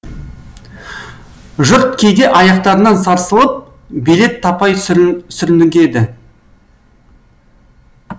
жұрт кейде аяқтарынан сарсылып билет таппай сүрнігеді